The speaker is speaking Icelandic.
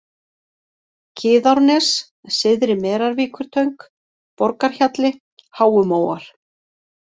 Kiðárnes, Syðri-Merarvíkurtöng, Borgarhjalli, Háumóar